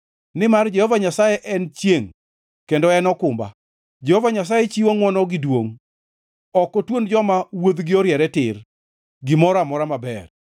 Nimar Jehova Nyasaye en chiengʼ kendo en okumba; Jehova Nyasaye chiwo ngʼwono gi duongʼ; ok otuon joma wuodhgi oriere tir gimoro amora maber.